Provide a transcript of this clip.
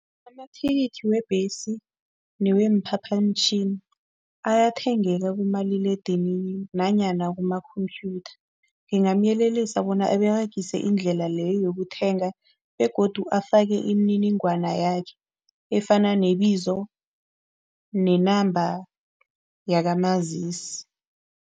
Amathikithi webhesi neweemphaphamtjhini ayathengeka kumaliledinini nanyana kuma-khomphyutha. Ngingamyelelisa bona aberegise indlela leyo yokuthenga begodu afake imininingwana yakhe efana nebizo ne-number yakamazisi.